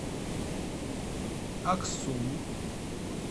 аксу